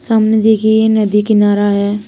सामने देखिए ये नदी किनारा है।